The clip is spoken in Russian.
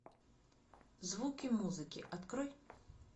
звуки музыки открой